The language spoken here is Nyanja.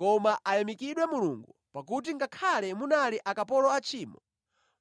Koma ayamikidwe Mulungu pakuti ngakhale munali akapolo a tchimo,